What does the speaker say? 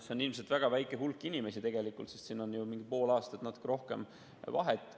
See on ilmselt väga väike hulk inimesi tegelikult, sest siin on mingi pool aastat või natuke rohkem vahet.